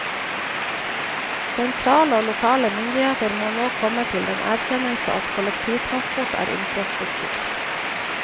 Sentrale og lokale myndigheter må nå komme til den erkjennelse at kollektivtransport er infrastruktur.